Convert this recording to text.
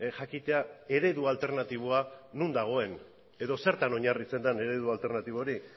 jakitea eredu alternatiboa non dagoen edo zertan oinarritzen den eredu alternatibo hori